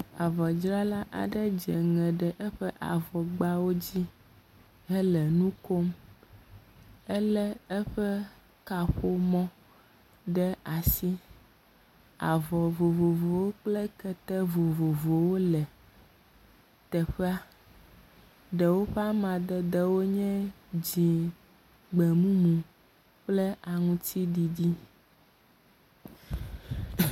Avɔdzrala aɖe dzeŋe ɖe eƒe avɔ gbawo dzi hele nu kom. Ele eƒe kaƒomɔ ɖe asi. Avɔ vovovowo kple kete vovovowo le teƒea. Ɖewo ƒe amadede nye dzi, gbemumu kple aŋutiɖiɖi.